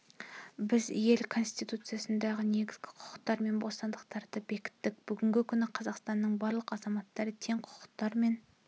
біз ел конституциясында негізгі құқықтар мен бостандықтарды бекіттік бүгінгі күні қазақстанның барлық азаматтары тең құқықтар мен